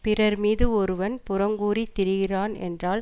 பிறர் மீது ஒருவன் புறங்கூறி திரிகிறான் என்றால்